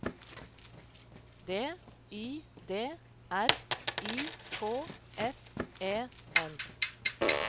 D I D R I K S E N